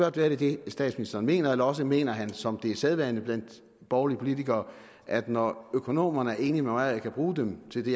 at det er det statsministeren mener eller også mener han som det er sædvane blandt borgerlige politikere at når økonomerne er enige med ham og han kan bruge dem til det